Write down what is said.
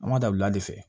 An ma da wula de fɛ